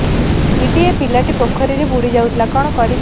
ଦିଦି ଏ ପିଲାଟି ପୋଖରୀରେ ବୁଡ଼ି ଯାଉଥିଲା କଣ କରିବି